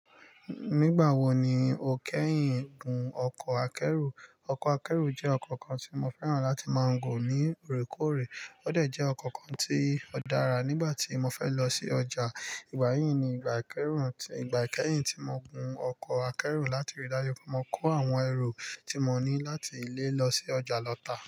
Nígbà wo ni o kẹ́yìn gun ọkọ̀ akẹ́rù? Ọkọ̀ akẹ́rù jẹ́ ọkọ̀ kan tí mo fẹ́ràn láti máa gun ní òrékòórè. Ó dẹ̀ jẹ́ ọkọ̀ kan tí ó dára nígbà tí mo fẹ́ lọ sí ọjà. Ìgbà yí ni ìgbà kẹ́yìn tí mo gun ọkọ̀ akẹ́rù láti rí dájú pé mo kó àwọn ẹrù tí mo ní láti ilé lọ sí ọjà lọta.